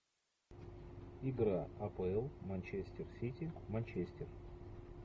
игра апл манчестер сити манчестер